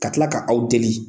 Ka tila ka aw deli